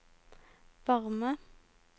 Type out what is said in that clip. varme